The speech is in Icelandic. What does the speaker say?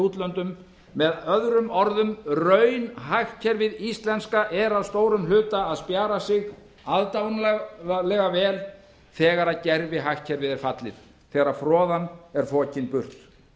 útlönd möo raunhagkerfið íslenska er að stórum hluta að spjara sig aðdáunarlega vel þegar gervihagkerfið er fallið þegar froðan er fokin burt